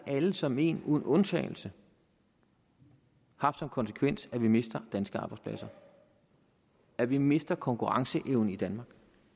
alle som et uden undtagelse som konsekvens at vi mister danske arbejdspladser at vi mister konkurrenceevne i danmark